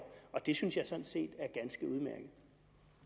det synes jeg sådan set